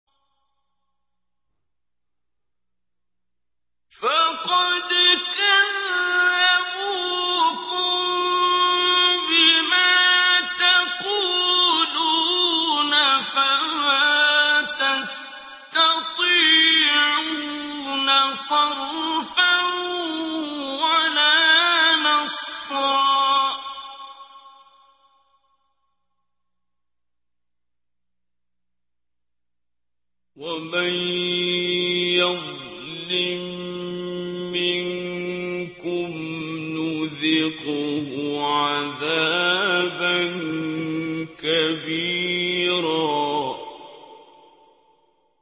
فَقَدْ كَذَّبُوكُم بِمَا تَقُولُونَ فَمَا تَسْتَطِيعُونَ صَرْفًا وَلَا نَصْرًا ۚ وَمَن يَظْلِم مِّنكُمْ نُذِقْهُ عَذَابًا كَبِيرًا